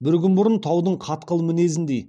бір күн бұрын таудың қатқыл мінезіндей